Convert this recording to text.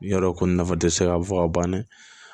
N y'a dɔn ko nin nafa tɛ se ka fɔ ka ban dɛ